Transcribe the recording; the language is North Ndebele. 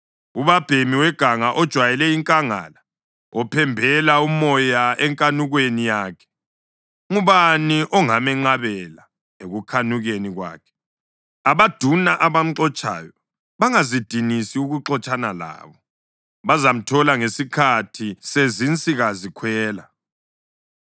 ubabhemi weganga ojwayele inkangala, ophembela umoya enkanukweni yakhe, ngubani ongamenqabela ekukhanukeni kwakhe? Abaduna abamxotshayo bangazidinisi ukuxotshana labo; bazamthola ngesikhathi sezinsikazikhwela.